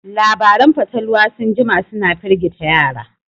Labaran fatalwa sun jima suna firgita yara